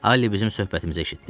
Alli bizim söhbətimizə eşitdi.